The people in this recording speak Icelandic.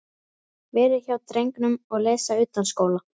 Vera hjá drengnum og lesa utanskóla.